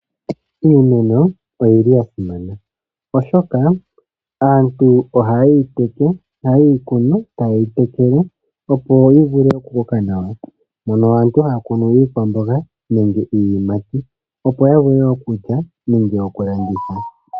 Iimeno oyili ya simana oshoka aantu oha yeyi kunu, ta yeyi tekele, opo yi vule oku koka nawa, moka aantu haya kunu iikwamboga nenge iiyimati, opo ya vule okulya nenge oku landitha.